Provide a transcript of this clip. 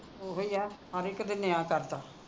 ਓਹੋ ਈ ਆ ਹਰ ਇਕ ਦੇ ਨਿਆਂ ਕਰਦਾ